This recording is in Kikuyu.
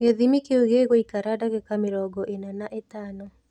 Gĩthimi kĩu gĩgũikara dagĩka mĩrongo ina na itano.